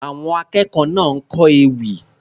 Àwọn akẹ́kọ̀ọ́ náà kọ ewì.